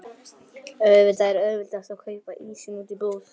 Auðvitað er auðveldast að kaupa ísinn úti í búð.